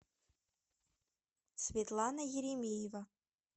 светлана еремеева